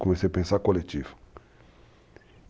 Comecei a pensar coletivo.